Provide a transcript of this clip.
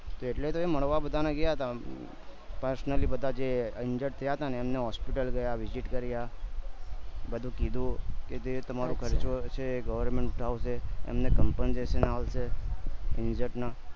એટલે તો મળવા બધાને ગયા હતા personally બધા જે injured થયા હતા એમને hospital પર visit કર્યા બધું કીધું કે જે તમરો ખર્ચો છે government ઉઠાવશે એમને compensation આવશે injured ના